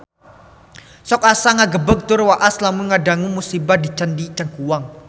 Sok asa ngagebeg tur waas lamun ngadangu musibah di Candi Cangkuang